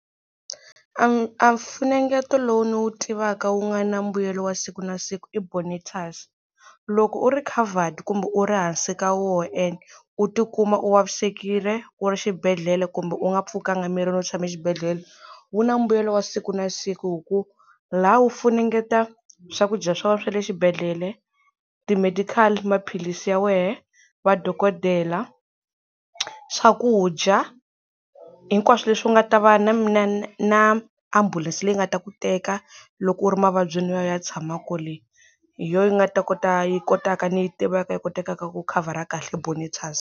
A a mfunengeta lowu ni wu tivaka wu nga na mbuyelo wa siku na siku i Bonitas loko u ri covered kumbe u ri hansi ka wona and u tikuma u vavisekile u ri xibedhlele kumbe u nga pfukanga mirini u tshame exibedhlele wu na mbuyelo wa siku na siku hi ku la wu funengeta swakudya swa wena swa le xibedhlele, ti medical, maphilisi ya wehe, va dokodela, swakudya hinkwaswo leswi u nga ta va na na na ambulense leyi nga ta ku teka loko u ri mavabyini u ya u ya tshama kwale. Hi yo yi nga ta kota yi kotaka ni yi tivaka yi kotekaka ku khavhara kahle Bonitas.